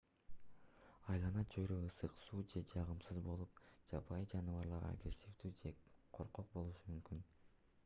айлана-чөйрө ысык суук же жагымсыз болуп жапайы жаныбарлар агрессивдүү же коркок болушу мүмкүн